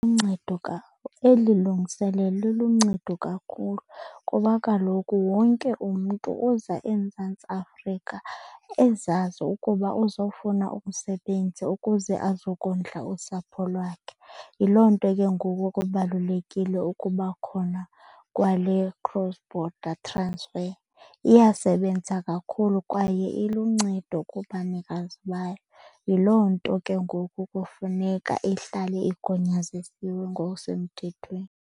Eli lungiselelo liluncedo kakhulu kuba kaloku wonke umntu oza eMzantsi Afrika ezazi ukuba uzofuna umsebenzi ukuze azokondla usapho lwakhe. Yiloo nto ke ngoku kubalulekile ukuba khona kwale cross border transfer. Iyasebenza kakhulu kwaye iluncedo kubanikazi bayo. Yiloo nto ke ngoku kufuneka ihlale igunyazezisiwe ngokusemthethweni.